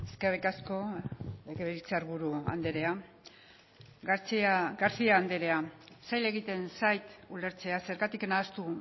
eskerrik asko legebiltzar buru andrea garcía anderea zaila egiten zait ulertzea zergatik nahastu